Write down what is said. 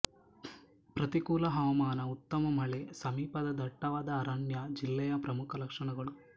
ಪ್ರತಿಕೂಲ ಹವಾಮಾನ ಉತ್ತಮ ಮಳೆ ಸಮೀಪದ ದಟ್ಟವಾದ ಅರಣ್ಯ ಜಿಲ್ಲೆಯ ಪ್ರಮುಖ ಲಕ್ಷಣಗಳು